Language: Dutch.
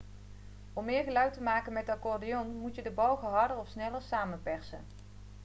om meer geluid te maken met de accordeon moet je de balgen harder of sneller samenpersen